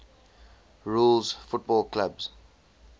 rules football clubs